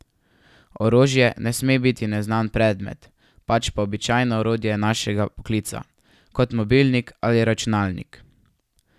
Orožje ne sme biti neznan predmet, pač pa običajno orodje našega poklica, kot mobilnik ali računalnik.